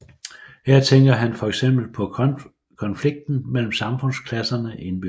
Her tænker han for eksempel på konflikten mellem samfundsklasserne indbyrdes